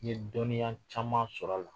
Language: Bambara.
N ye dɔnniya caman sɔrɔ a la